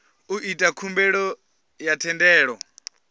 u ita khumbelo ya thendelo